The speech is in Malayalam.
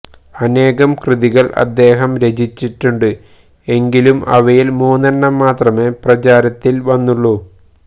അനേകം കൃതികള് അദ്ദേഹം രചിച്ചിട്ടുണ്ട് എങ്കിലും അവയില് മൂന്നെണ്ണം മാത്രമേ പ്രചാരത്തില് വന്നുള്ളൂ